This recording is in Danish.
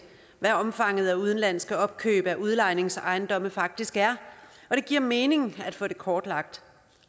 hvad omfanget af udenlandske opkøb af udlejningsejendomme faktisk er og det giver mening at få det kortlagt